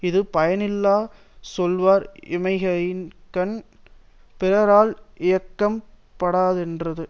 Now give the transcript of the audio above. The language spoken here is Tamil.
இது பயனில சொல்வார் இம்மையின்கண் பிறரால் இயக்கம் படாரென்றது